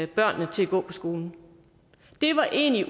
børnene til at gå på skolen det var egentlig